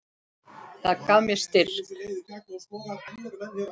Það gaf mér styrk.